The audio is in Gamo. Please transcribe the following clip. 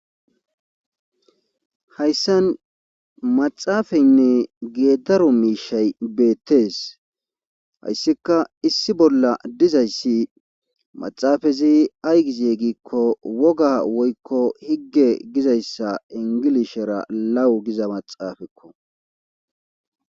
hayssan maxaafaynne geedaro miishay beettees hayssika issi bolla dizayssi maxaafazi aygizee giikko woga woykko higge gizayssa ingilishera lawu giza maxaafekko